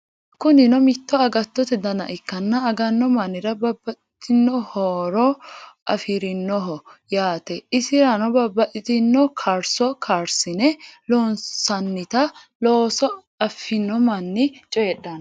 Kunino mitto agattote dana ikkanna aganno mannira babbaxitino horonna nyammo afirinoho yaate isirano babbaxitino karso karsine loonsannita loosse affino manni cooydhano.